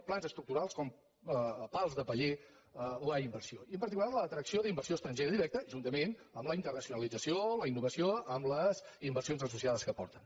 plans estructurals com a pal de paller de la inversió i en particular l’atracció d’inversió estrangera directa juntament amb la internacionalització la innovació amb les inversions associades que porten